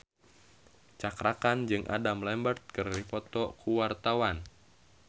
Cakra Khan jeung Adam Lambert keur dipoto ku wartawan